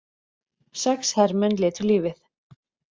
Sex hermenn létu lífið